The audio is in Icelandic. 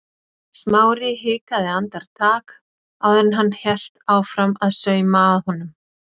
Smári hikaði andartak áður en hann hélt áfram að sauma að honum.